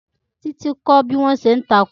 Títí kọ́ bí wọ́n ṣé ń ṣe Tákò